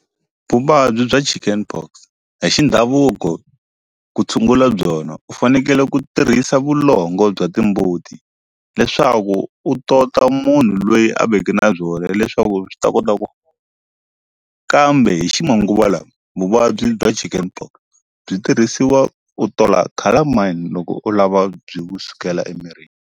Vuvabyi bya chicken pox hi xi ndhavuko ku tshungula byona u fanekele ku tirhisa vulongo bya timbuti leswaku u tota munhu lweyi a veke na byona leswaku byi ta kota ku kambe hi ximanguva lawa vuvabyi bya chicken pox byi tirhisiwa u tola calamine loko u lava byi kusukela emirini.